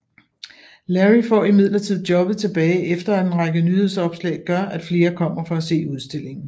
Larry får imidlertid jobbet tilbage efter at en række nyhedsopslag gør at flere kommer for at se udstillingen